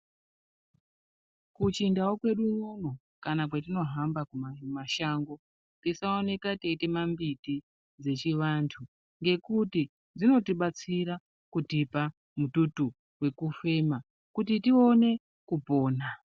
KuChindau kwedu unono kana kwetinohamba kumashango, tisaoka teitema mbiti dzechiwandu ngekuti dzinotibatsira kutipa mututu wekufema kuti tione kupona.